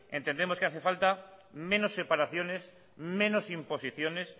entendemos que hace falta menos separaciones menos imposiciones